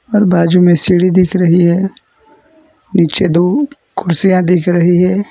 और बाजू में सीढ़ी दिख रही है नीचे दो कुर्सियां दिख रही है।